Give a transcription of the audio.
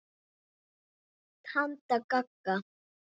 Tanta Gagga.